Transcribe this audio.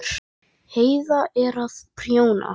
Heiða er að prjóna.